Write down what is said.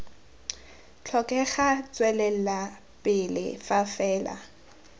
tlhokega tswelela pele fa fela